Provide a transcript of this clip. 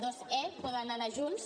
aquests poden anar junts